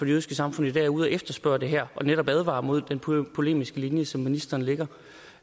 jødiske samfund i dag er ude at efterspørge det her og netop advarer mod den polemiske linje som ministeren lægger